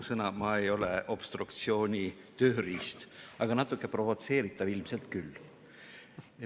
Ausõna, ma ei ole obstruktsiooni tööriist, aga natuke provotseeritav ilmselt küll.